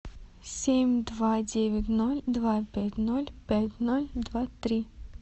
семь два девять ноль два пять ноль пять ноль два три